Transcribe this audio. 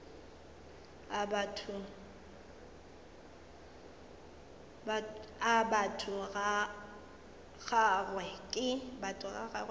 a batho ga gagwe ke